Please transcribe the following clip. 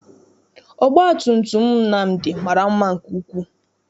Ọgbatumutum Nnamdi mara mma nke ukwuu.